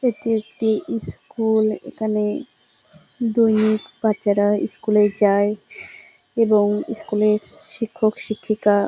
এটি একটি ইস্কুল । এখানে দৈনিক বাচ্চারা ইস্কুল -এ যায় এবং ইস্কুল -এ শিক্ষক শিক্ষিকা--